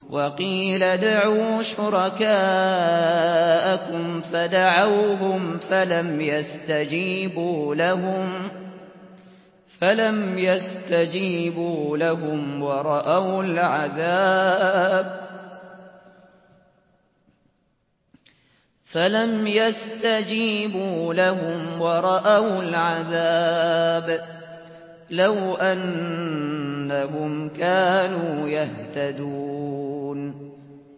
وَقِيلَ ادْعُوا شُرَكَاءَكُمْ فَدَعَوْهُمْ فَلَمْ يَسْتَجِيبُوا لَهُمْ وَرَأَوُا الْعَذَابَ ۚ لَوْ أَنَّهُمْ كَانُوا يَهْتَدُونَ